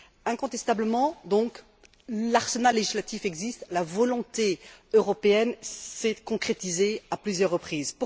Incontestablement donc, l'arsenal législatif existe, la volonté européenne s'est concrétisée à plusieurs reprises.